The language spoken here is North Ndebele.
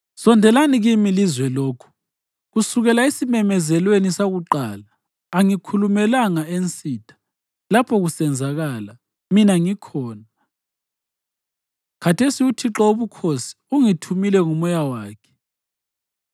Sondelani kimi lizwe lokhu: Kusukela esimemezelweni sakuqala angikhulumelanga ensitha; lapho kusenzakala, mina ngikhona.” Khathesi uThixo Wobukhosi ungithumile ngoMoya wakhe.